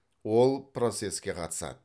ол процеске қатысады